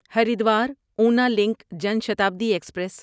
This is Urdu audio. Haridwar Una link Janshatabdi express